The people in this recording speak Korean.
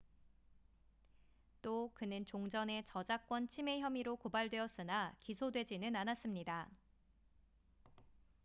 또 그는 종전에 저작권 침해 혐의로 고발되었으나 기소되지는 않았습니다